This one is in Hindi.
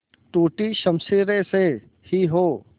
टूटी शमशीरें से ही हो